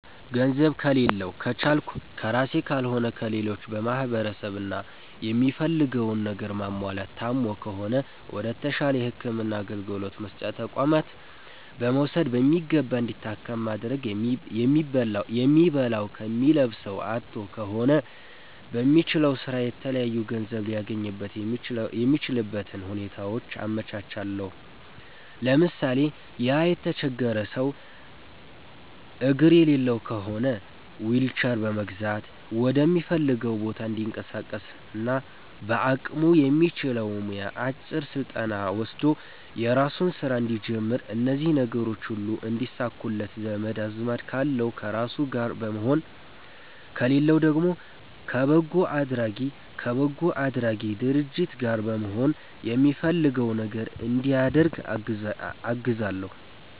ገንዘብ ከሌላዉ ከቻልኩ ከራሴ ካልሆነ ከሌሎች በማሰባሰብ እና የሚፈልገዉን ነገር ማሟላት ታሞ ከሆነ ወደ ተሻለ የህክምና አገልግሎት መስጫ ተቋማት በመዉሰድ በሚገባ እንዲታከም ማድረግ የሚበላዉ የሚለብሰዉ አጥቶ ከሆነ በሚችለዉ ስራ የተለያዩ ገንዘብ ሊያገኝበት የሚችልበትን ሁኔታዎች አመቻቻለሁ ለምሳሌ፦ ያ የተቸገረ ሰዉ አግር የሌለዉ ከሆነ ዊልቸር በመግዛት ወደሚፈልገዉ ቦታ እንዲንቀሳቀስና በአቅሙ የሚችለዉ ሙያ አጭር ስልጠና ወስዶ የራሱን ስራ እንዲጀምር እነዚህ ነገሮች ሁሉ እንዲሳኩለት ዘመድ አዝማድ ካለዉ ከነሱ ጋር በመሆን ከሌለዉ ደግሞ ከበጎ አድራጊ ድርጅት ጋር በመሆን የሚፈልገዉ ነገር እንዲያደርግ አግዛለሁኝ